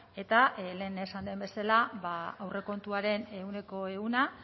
eta lehen esan den bezala ba aurrekontuaren ehuneko ehuna